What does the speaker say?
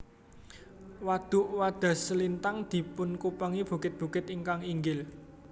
Wadhuk Wadhaslintang dipunkupengi bukit bukit ingkang inggil